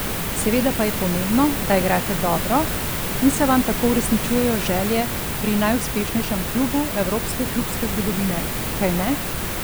Seveda pa je pomembno, da igrate dobro in se vam tako uresničujejo želje pri najuspešnejšem klubu evropske klubske zgodovine, kajne?